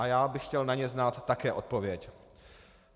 A já bych chtěl na ně znát také odpověď.